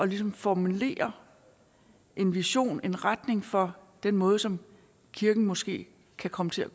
ligesom at formulere en vision en retning for den måde som kirken måske kan komme til at